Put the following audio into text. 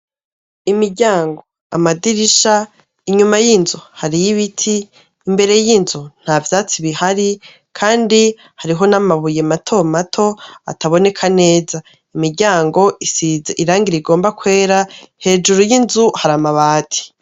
Imiryango amadirisha inyuma y'inzu hariyo'ibiti imbere y'inzu nta vyatsi bihari, kandi hariho n'amabuye matomato ataboneka neza imiryango isiza irangiraigomba kwera hejuru y'inzu hari amabati.